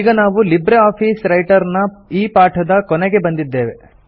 ಈಗ ನಾವು LibreOffice Writer ನ ಈ ಪಾಠದ ಕೊನೆಗೆ ಬಂದಿದ್ದೇವೆ